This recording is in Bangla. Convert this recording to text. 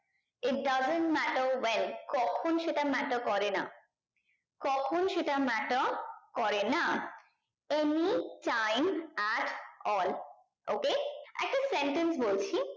it doesn't matter well কখন সেটা matter করে না কখন সেটা matter করে না any time at all okay একটা sentence বলছি